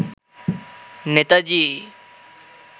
Netaji